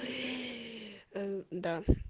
э да